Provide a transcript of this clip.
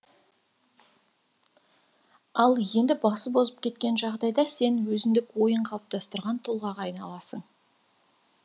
ал енді басып озып кеткен жағдайда сен өзіндік ойын қалыптастырған тұлғаға айналасың